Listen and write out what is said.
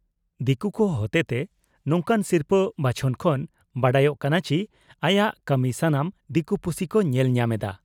ᱫᱤᱠᱩ ᱠᱚ ᱦᱚᱛᱮᱛᱮ ᱱᱚᱝᱠᱟᱱ ᱥᱤᱨᱯᱷᱟᱹ ᱵᱟᱪᱷᱚᱱ ᱠᱷᱚᱱ ᱵᱟᱰᱟᱭᱚᱜ ᱠᱟᱱᱟ ᱪᱤ ᱟᱭᱟᱜ ᱠᱟᱹᱢᱤ ᱥᱟᱱᱟᱢ ᱫᱤᱠᱩ ᱯᱩᱥᱤ ᱠᱚ ᱧᱮᱞ ᱧᱟᱢ ᱮᱫᱼᱟ ᱾